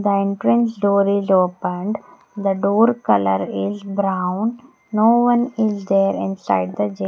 The entrance door is opened the door color is brown no one is there inside the --